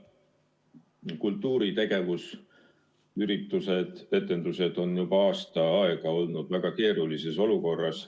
Kultuuritegevus, sh üritused ja etendused, on juba aasta aega olnud väga keerulises olukorras.